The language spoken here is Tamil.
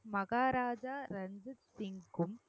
மகாராஜா ரஞ்சித் சிங்கும்